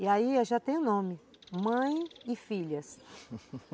E aí já tem nome, Mãe e Filhas